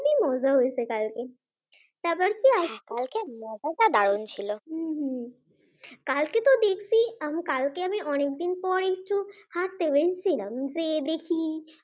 খুবই মজা হয়েছে কালকে। কালকের খেলাটা দারুন ছিল কালকে তো দিব্যি কালকে আমি অনেকদিন পর একটু হাঁটতে বেরিয়েছিলাম গিয়ে দেখি